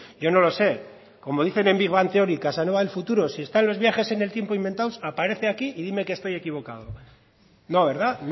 yo no lo sé como dicen en big bang theory casanova del futuro si están los viajes en el tiempo inventados aparece aquí y dime que estoy equivocado no verdad